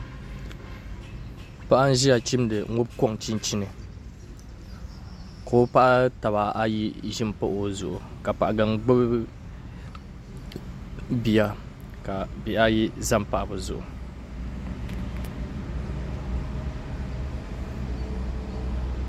Paɣa n ʒiya n chimdi ŋubi konchinchin ka o paɣi tabi baa ayi ʒin pahi o zuɣu ka Paɣ gangbubi bia ka bihi ayi ʒɛn n pahi bɛ zuɣu